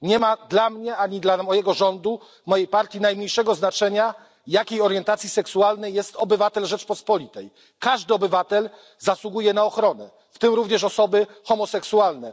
Nie ma dla mnie ani dla mojego rządu, mojej partii najmniejszego znaczenia, jakiej orientacji seksualnej jest obywatel Rzeczypospolitej. Każdy obywatel zasługuje na ochronę, w tym również osoby homoseksualne.